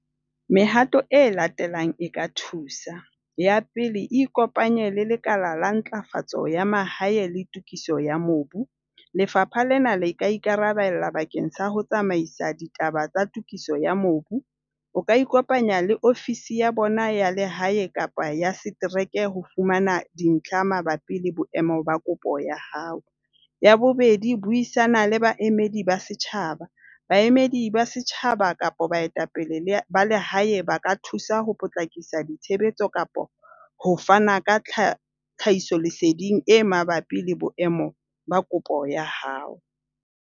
Mehato e latelang e ka thusa. Ya pele, ikopanye le lekala la ntlafatso ya mahae le tokiso ya mobu. Lefapha lena le ka ikarabella bakeng sa ho tsamaisa ditaba tsa tokiso ya mobu. O ka ikopanya le ofisi ya bona ya lehae kapa ya setereke ho fumana dintlha mabapi le boemo ba kopo ya hao. Ya bobedi, buisana le baemedi ba setjhaba. Baemedi ba setjhaba kapa baetapele ba le hae ba ka thusa ho potlakisa ditshebetso kapa ho fana ka tlhahisoleseding e mabapi le boemo ba kopo ya hao.